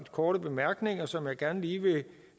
korte bemærkninger som jeg gerne lige vil